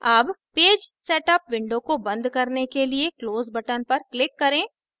अब page setup window को बंद करने के लिए close button पर click करें